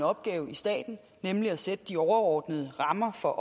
opgave i staten nemlig at sætte de overordnede rammer for